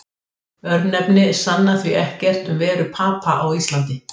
Örnefni sanna því ekkert um veru Papa á Íslandi.